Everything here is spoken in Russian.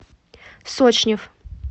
сочнев